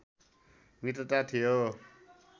मित्रता थियो